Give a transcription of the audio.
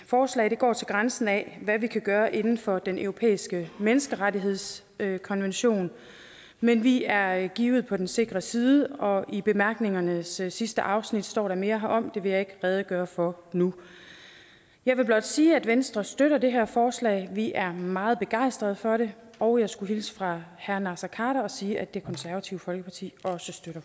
forslag går til grænsen af hvad vi kan gøre inden for den europæiske menneskerettighedskonvention men vi er givet på den sikre side og i bemærkningernes sidste afsnit står der mere herom det vil jeg ikke redegøre for nu jeg vil blot sige at venstre støtter det her forslag vi er meget begejstret for det og jeg skulle hilse fra herre naser khader og sige at det konservative folkeparti også støtter